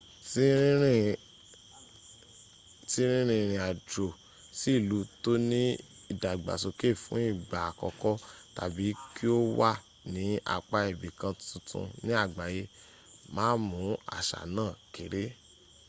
tí rínrin ìrìn àjò sí ìlú tóní ìdàgbàsóké fún ìgbà àkọ́kọ́ tàbí kí o wà ní apá ibì kan tuntun ní àgbáyé- má mú àṣà náà kéré